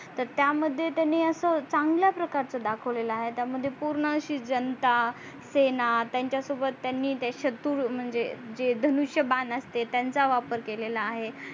तर त्या मध्ये त्यांनी अस चांगल्या प्रकरचा दाखवला आहे त्या मध्ये पूर्ण अशी जनता सेना त्यांच्या सोबत त्यांनी स्तुर म्हणजे जे धनुषबाण असते त्यांचा वापर केलेला आहे.